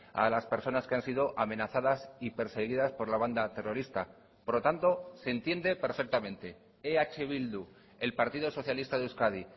a las personas que han sido amenazadas y perseguidas por la banda terrorista por lo tanto se entiende perfectamente eh bildu el partido socialista de euskadi